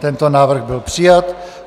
Tento návrh byl přijat.